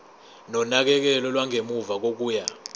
nonakekelo lwangemuva kokuya